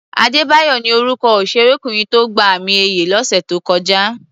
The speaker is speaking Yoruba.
Adébáyọ̀ ni orúkọ òṣèrékùnrin tó gba àmì-ẹ̀yẹ lọ́sẹ̀ tó kọjá.